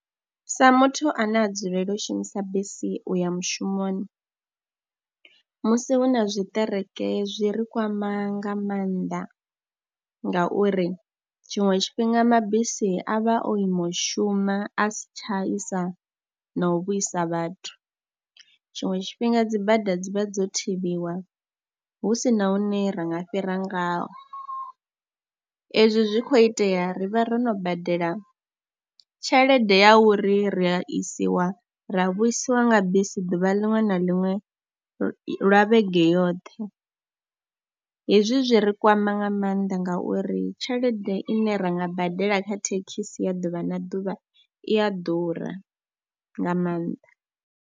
Sa muthu ane a dzulela u shumisa bisi u ya mushumoni, musi hu na tshiṱereke zwi ri kwama nga mannḓa ngauri tshiṅwe tshifhinga mabisi a vha o ima u shuma a si tsha isa na u vhuisa vhathu. Tshiṅwe tshifhinga dzi bada dzi vha dzo thivhiwa hu si na hune ra nga fhira ngao, ezwi zwi khou itea ri vha ro no badela tshelede ya uri ri a isiwa ra vhuisiwa nga bisi ḓuvha liṅwe na liṅwe lwa vhege yoṱhe. Hezwi zwi ri kwama nga maanḓa ngauri tshelede ine ra nga badela kha thekhisi ya ḓuvha na ḓuvha i a ḓura nga maanḓa.